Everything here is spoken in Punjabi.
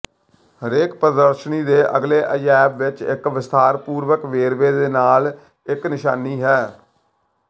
ਹਰੇਕ ਪ੍ਰਦਰਸ਼ਨੀ ਦੇ ਅਗਲੇ ਅਜਾਇਬ ਵਿਚ ਇਕ ਵਿਸਥਾਰਪੂਰਵਕ ਵੇਰਵੇ ਦੇ ਨਾਲ ਇਕ ਨਿਸ਼ਾਨੀ ਹੈ